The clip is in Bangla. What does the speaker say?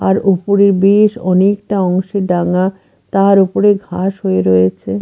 আর উপরে বেশ অনেকটা অংশে ডাঙা তার উপরে ঘাস হয়ে রয়েছে।